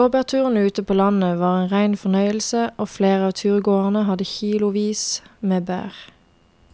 Blåbærturen ute på landet var en rein fornøyelse og flere av turgåerene hadde kilosvis med bær.